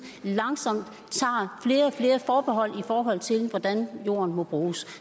langsomt tager flere og flere forbehold i forhold til hvordan jorden må bruges